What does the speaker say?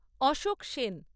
Ashok Sen